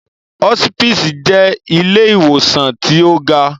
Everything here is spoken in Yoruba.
Hospisi jẹ ìlé-iwosan ti o ga